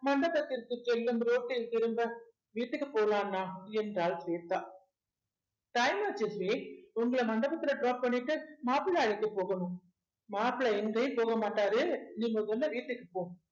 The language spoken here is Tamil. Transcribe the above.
மண்டபத்திற்கு செல்லும் ரோட்டில் திரும்ப வீட்டுக்கு போலாண்ணா என்றால் ஸ்வேதா time ஆச்சு உங்களை மண்டபத்துல drop பண்ணிட்டு மாப்பிளை அழைக்க போகணும் மாப்பிளை எங்கயு போக மாட்டாரு நீங்க கொஞ்சம் வீட்டுக்கு போ